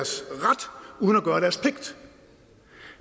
at uden at gøre deres pligt